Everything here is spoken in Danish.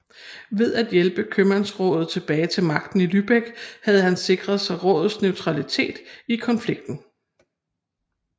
Ved at hjælpe købmandsrådet tilbage til magten i Lübeck havde han sikret sig rådets neutralitet i konflikten